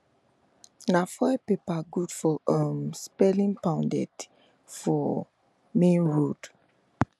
na foil paper good for um selling pounded for main road